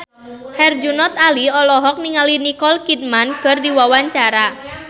Herjunot Ali olohok ningali Nicole Kidman keur diwawancara